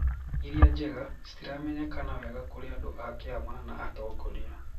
Iria njega, citiramenyekana wega kurĩ andũ a kiama na atongoria.